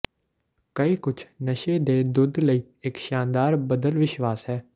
ਕਈ ਕੁਝ ਨਸ਼ੇ ਦੇ ਦੁੱਧ ਲਈ ਇਕ ਸ਼ਾਨਦਾਰ ਬਦਲ ਵਿਸ਼ਵਾਸ ਹੈ